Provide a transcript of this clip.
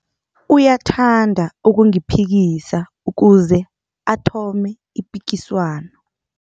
Uyathanda ukungiphikisa ukuze athome ipikiswano.